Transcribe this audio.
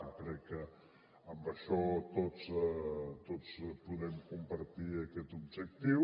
jo crec que en això tots podem compartir aquest objectiu